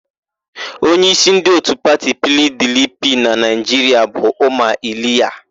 Onyeísí ndị òtù pati PIiDIiPIi na Naịjiria bụ Ụma Iliya.